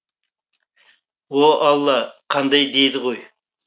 о алла қандай дейді ғой